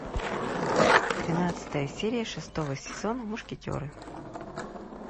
тринадцатая серия шестого сезона мушкетеры